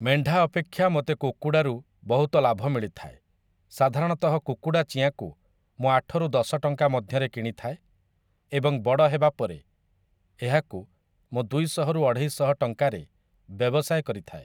ମେଣ୍ଢା ଅପେକ୍ଷା ମୋତେ କୁକୁଡ଼ାରୁ ବହୁତ ଲାଭ ମିଳିଥାଏ ସାଧାରଣତଃ କୁକୁଡ଼ା ଚିଆଁକୁ ମୁଁ ଆଠରୁ ଦଶ ଟଙ୍କା ମଧ୍ୟରେ କିଣି ଥାଏ ଏବଂ ବଡ଼ ହେବା ପରେ ଏହାକୁ ମୁଁ ଦୁଇଶହ ରୁ ଅଢ଼େଇଶହ ଟଙ୍କାରେ ବ୍ୟବସାୟ କରିଥାଏ ।